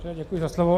Děkuji za slovo.